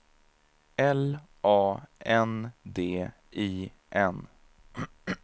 L A N D I N